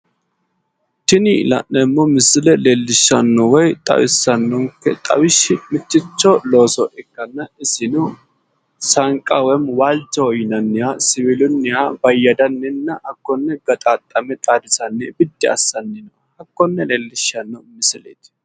Tini la'neemmo misile leellishshanno woyi xawissannonke xawishshi mitto looso ikkanna isino saanqaho woyi waalchoho yinanniha siwiilunniha bayyadanninna hakkone gaxaaxxame xaadisanni biddi assanna hakkonne leellisshanno misileeti.